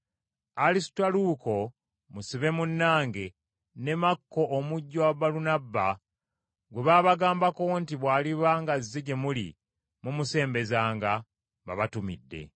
Alisutaluuko, musibe munnange, ne Makko omujjwa wa Balunabba, gwe baabagambako nti bw’aliba ng’aze gye muli mumusembezanga, babatumidde;